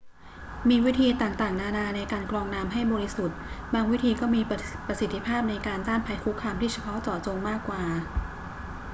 มีวิธีต่างๆ นานาในการกรองน้ำให้บริสุทธิ์ บางวิธีก็มีประสิทธิภาพในการต้านภัยคุกคามที่เฉพาะเจาะจงมากกว่า